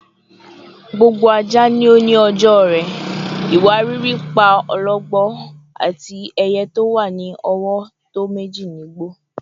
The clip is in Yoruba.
"Gbogbo aja ni o ni ọjọ rẹ," "Iwariiri pa ologbo," ati "Eye ti o wa ni ọwọ tọ meji ni igbo."